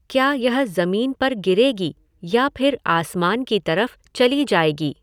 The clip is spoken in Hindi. क्या यह ज़मीन पर गिरेगी या फिर आसमान की तरफ चली जाएगी?